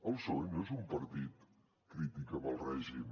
el psoe no és un partit crític amb el règim